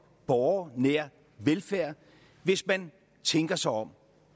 borgernær velfærd hvis man tænker sig om